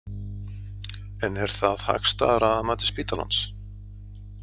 En er það hagstæðara að mati spítalans?